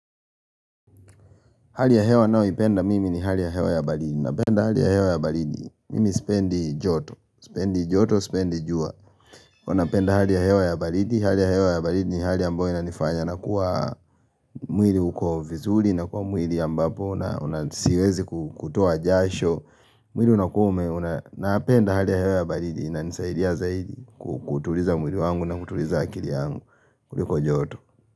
Hali ya hewa ninayo ipenda mimi ni hali ya hewa ya baridi, napenda hali ya hewa ya baridi, mimi sipendi joto, sipendi jua, hua napenda hali ya hewa ya baridi, hali ya hewa ya baridi ni hali ambayo na inanifanya, nakuwa mwili uko vizuri, nakuwa mwili ambapo, na siwezi kutoa jasho, mwili unakua, napenda hali ya hewa ya baridi, ininisaidia zaidi kutuliza mwili wangu na kutuliza akili yangu, kuliko joto.